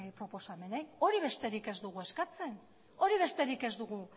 proposamenei hori besterik ez dugu eskatzen hori besterik ez dugu